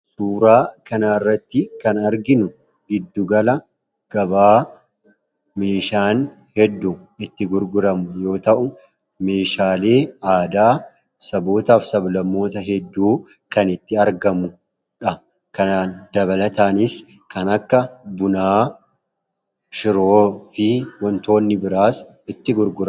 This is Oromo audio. Suuraa kana irratti kan arginu giddugala gabaa meeshaan heddu itti gurguramu yoo ta'u meeshaalee aadaa addaa hedduu kan itti argamuudha. Kana dabalataanis kan akka bunaa shiroo fi wantoonni biraas itti gurgura.